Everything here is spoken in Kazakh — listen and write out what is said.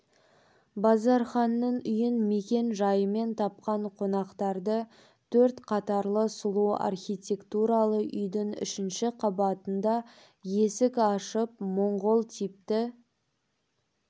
базарханның үйін мекен жайымен тапқан қонақтарды төрт қатарлы сұлу архитектуралы үйдің үшінші қабатында есік ашып моңғол типті